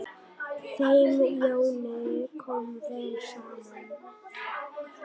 Þeim Jóni kom vel saman.